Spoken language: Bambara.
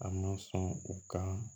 A ma sɔn u ka